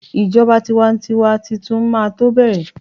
ijoba tiwantiwa Titun ma to bẹrẹ